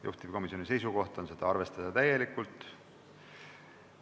Juhtivkomisjoni seisukoht on seda arvestada täielikult.